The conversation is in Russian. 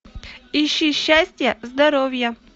ищи счастья здоровья